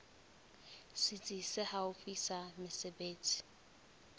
setsi se haufi sa mesebetsi